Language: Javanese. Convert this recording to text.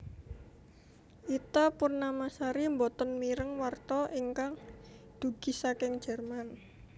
Ita Purnamasari mboten mireng warta ingkang dugi saking Jerman